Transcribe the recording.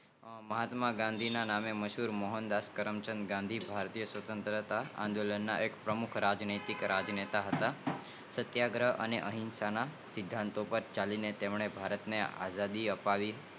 મહત્તમ ગાંધી ના નામે મશહૂર મોહનદાસ કરામચંદ ગાંધી ભારતીય સ્વત્રંતા અને આંદોલનના અહિંસા ના સિદ્ધાંત પર ચાલીં તેમને ભારત ને આઝાદી અપાવી